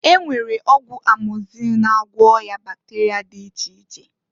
E nwere ọgwụ amọgzịlịn na-agwọ ọya bakterịa dị iche iche.